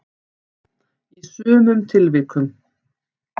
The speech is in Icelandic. í sumum tilvikum.